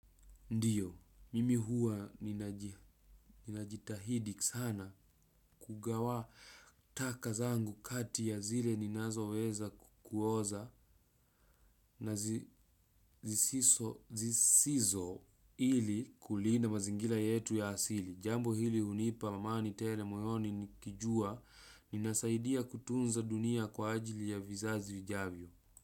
Ndiyo, mimi huwa ninaji ninajitahidi sana kugawa taka zangu kati ya zile ninazoweza kuoza na zisiso zisizo ili kulinda mazingira yetu ya asili. Jambo hili hunipa amani tele moyoni nikijua ninasaidia kutunza dunia kwa ajili ya vizazi vijavyo.